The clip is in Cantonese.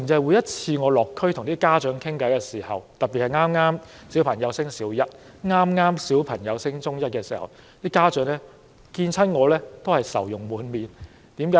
我每次落區和家長傾談時，特別是談到孩子剛升讀小一或中一，家長都會愁容滿臉。